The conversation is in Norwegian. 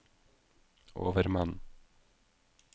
overmann